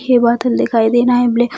ये बादल दिखाई देना है ब्लैक --